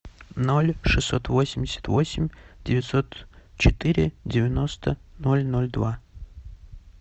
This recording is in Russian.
ноль шестьсот восемьдесят восемь девятьсот четыре девяносто ноль ноль два